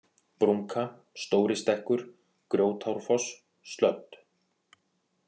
Brúnka, Stóri-Stekkur, Grjótárfoss, Slödd